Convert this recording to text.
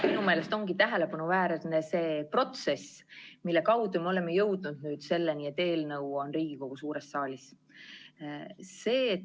Minu meelest on tähelepanuväärne see protsess, mille kaudu me oleme jõudnud selleni, et eelnõu on Riigikogu suures saalis.